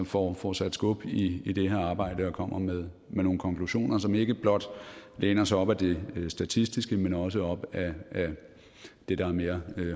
får får sat skub i i det her arbejde og kommer med nogle konklusioner som ikke blot læner sig op ad det statistiske men også op ad det der er mere